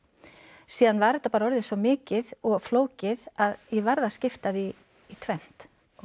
síðan var þetta bara orðið svo mikið og flókið að ég varð að skipta því í tvennt